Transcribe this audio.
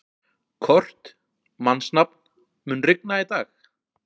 Kort (mannsnafn), mun rigna í dag?